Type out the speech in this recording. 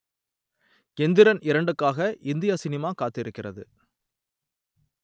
எந்திரன் இரண்டுக்காக இந்திய சினிமா காத்திருக்கிறது